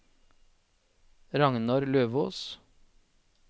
Ragnar Løvås